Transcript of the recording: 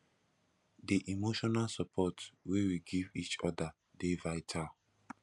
di emotional support wey we give each other dey vital